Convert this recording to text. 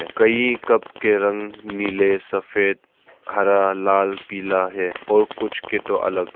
कई कप के रंग नीले सफेद हरा लाल पीला है और कुछ के तो अलग --